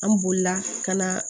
An bolila ka na